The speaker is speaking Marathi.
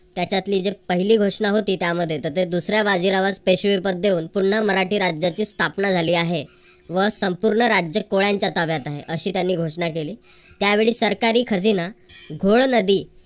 त्याच्यातली जे पहिली घोषणा होती त्यामध्ये तर ते दुसऱ्या बाजीरावास पेशवेपद देऊन पुन्हा मराठी राज्याची स्थापना झाली आहे व संपूर्ण राज्यात कोळ्यांच्या ताब्यात आहे. अशी त्यांनी घोषणा केली. त्यावेळी सरकारी खजिना घोड नदी